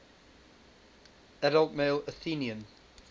adult male athenian